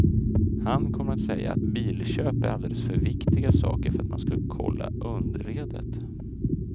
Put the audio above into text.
Han kommer att säga att bilköp är alldeles för viktiga saker för att man ska kolla underredet.